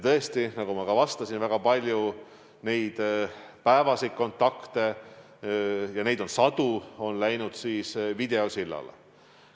Tõesti, nagu ma ka mainisin, väga palju nende päevaseid kontakte – ja neid on sadu – on läinud üle videosillale.